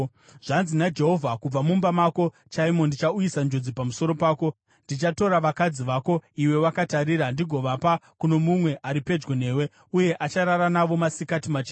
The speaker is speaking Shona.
“Zvanzi naJehovha: ‘Kubva mumba mako chaimo ndichauyisa njodzi pamusoro pako. Ndichatora vakadzi vako iwe wakatarira ndigovapa kuno mumwe ari pedyo newe, uye acharara navo masikati machena.